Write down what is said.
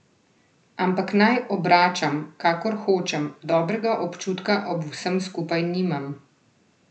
Ampak naj obračam, kakor hočem, dobrega občutka ob vsem skupaj nimam.